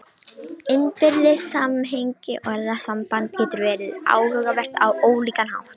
Innbyrðis samhengi orðasambanda getur verið áhugavert á ólíkan hátt.